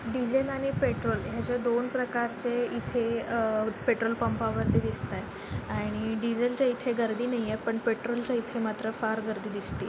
diesel आणि petrol आशे दोन प्रकारचे इथे अ पेट्रोल पंपा वरती दिसताय आणि डिझेलच इथे गर्दि नाही ए पण पेट्रोलचा इथे मात्र फार गर्दी दिसते--